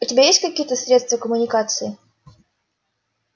у тебя есть какие-то средства коммуникации